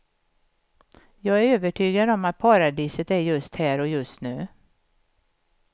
Jag är övertygad om att paradiset är just här och just nu.